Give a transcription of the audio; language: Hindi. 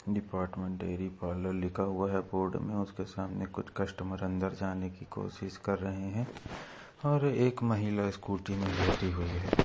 डिपार्टमेंट डेरी पार्लर लिखा हुआ है बोर्ड में उसके सामने कुछ कस्टमर अंदर जाने की कोशिश कर रहे है और एक महिला स्कूटी में बैठी हुई है।